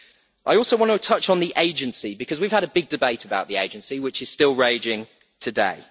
I also want to touch on the agency because we have had a big debate about the agency, which is still raging today.